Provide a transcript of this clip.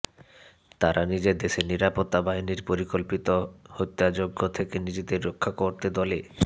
তারা নিজের দেশের নিরাপত্তা বাহিনীর পরিকল্পিত হত্যাযজ্ঞ থেকে নিজেদের রক্ষা করতে দলে